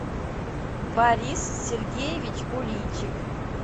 борис сергеевич куличик